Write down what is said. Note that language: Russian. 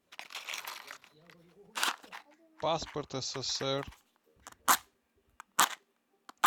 паспорт ссср